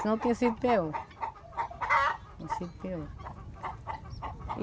Senão tinha sido pior. Tinha sido pior.